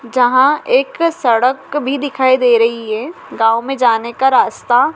जहां एक सड़क भी दिखाई दे रही हैं गांव में जाने का रास्ता--